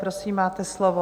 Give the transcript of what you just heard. Prosím, máte slovo.